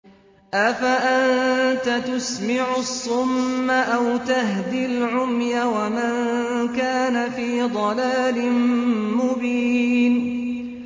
أَفَأَنتَ تُسْمِعُ الصُّمَّ أَوْ تَهْدِي الْعُمْيَ وَمَن كَانَ فِي ضَلَالٍ مُّبِينٍ